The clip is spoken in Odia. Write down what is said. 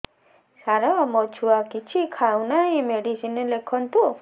ସାର ମୋ ଛୁଆ କିଛି ଖାଉ ନାହିଁ ମେଡିସିନ ଲେଖନ୍ତୁ